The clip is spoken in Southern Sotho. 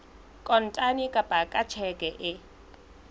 kontane kapa ka tjheke e